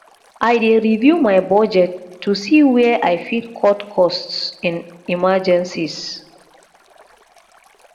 i dey review my budget to see where i fit cut costs in emergencies